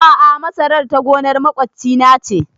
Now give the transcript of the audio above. A'a masarar ta gonar maƙoci na ce